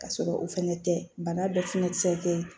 Ka sɔrɔ o fɛnɛ tɛ bana dɔ fɛnɛ tɛ se ka kɛ